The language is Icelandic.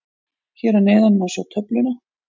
Hér að neðan má sjá töfluna.